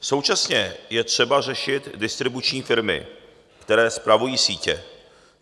Současně je třeba řešit distribuční firmy, které spravují sítě.